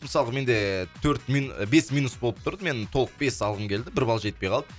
мысалы менде төрт бес минус болып тұрды мен толық бес алғым келді бір бал жетпей қалды